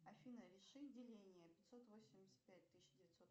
афина реши деление пятьсот восемьдесят пять тысяча девятьсот